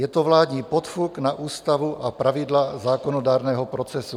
Je to vládní podfuk na ústavu a pravidla zákonodárného procesu.